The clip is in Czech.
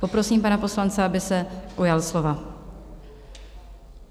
Poprosím pana poslance, aby se ujal slova.